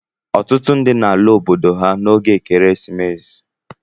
Ọtụtụ ndị na ala obodo ha n'oge Ekeresimesi.